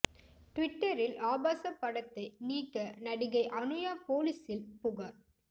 டிவிட்டரில் ஆபாச படத்தை நீக்க நடிகை அனுயா போலீசில் புகார்